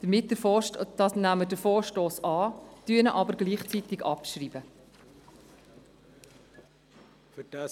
Deshalb nehmen wir den Vorstoss bei gleichzeitiger Abschreibung an.